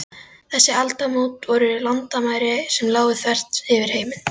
Þessi aldamót voru landamæri sem lágu þvert yfir heiminn.